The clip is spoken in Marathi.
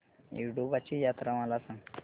येडोबाची यात्रा मला सांग